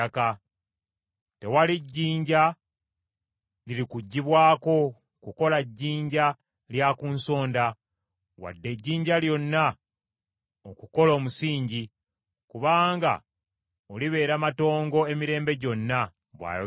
Tewali jjinja lirikuggibwako kukola jjinja lya ku nsonda, wadde ejjinja lyonna okukola omusingi, kubanga olibeera matongo emirembe gyonna,” bw’ayogera Mukama .